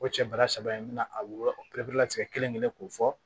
O cɛ bara saba in bɛna a wolola biɲɛ kelen kelen k'o fɔ